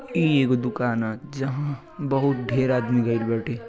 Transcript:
ई एगो दुकान ह जहां बहुत ढेर आदमी गइल बाटे।